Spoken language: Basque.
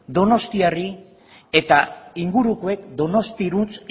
donostiarrei eta ingurukoek donostiarantz